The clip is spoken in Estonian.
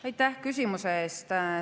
Aitäh küsimuse eest!